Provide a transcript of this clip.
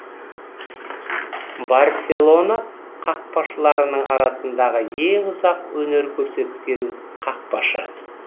барселона қақпашыларының арасындағы ең ұзақ өнер көрсеткен қақпашы